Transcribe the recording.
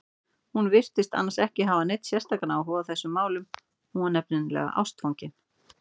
Hún virtist annars ekki hafa neinn sérstakan áhuga á þessum málum, hún var nefnilega ástfangin.